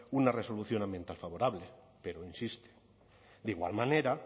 una resolución ambiental favorable pero insiste de igual manera